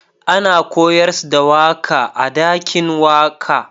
Ana koyars da waka a'dakin waka.